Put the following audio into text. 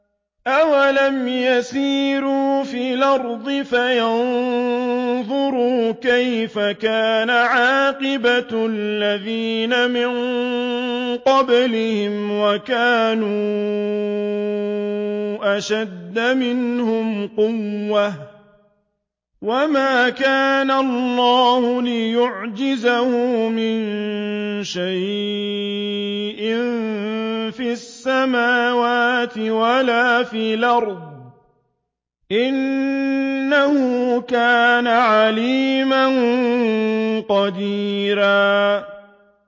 أَوَلَمْ يَسِيرُوا فِي الْأَرْضِ فَيَنظُرُوا كَيْفَ كَانَ عَاقِبَةُ الَّذِينَ مِن قَبْلِهِمْ وَكَانُوا أَشَدَّ مِنْهُمْ قُوَّةً ۚ وَمَا كَانَ اللَّهُ لِيُعْجِزَهُ مِن شَيْءٍ فِي السَّمَاوَاتِ وَلَا فِي الْأَرْضِ ۚ إِنَّهُ كَانَ عَلِيمًا قَدِيرًا